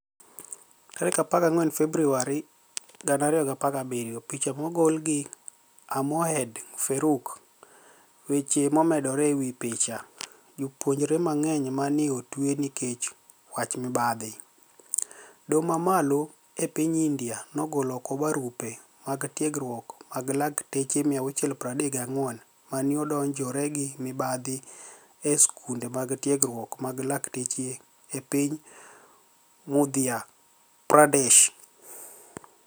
14 Februar 2017 Picha mogol gi A Moeed Faruqui Weche momedore e wi picha, Jopuonijre manig'eniy ma ni e otwe niikech wach mibadhi dohoMamalo e piniy Inidia nogolo oko barupe mag tiegruok mag lakteche 634 ma ni e odonijore gi mibadhi e skunide mag tiegruok mag lakteche e piniy Madhya Pradesh.